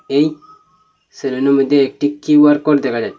এই সেলুনের মধ্যে একটি কিউ_আর কোড দেখা যাচ্ছে।